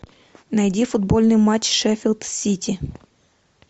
найди футбольный матч шеффилд сити